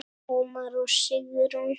Ómar og Sigrún.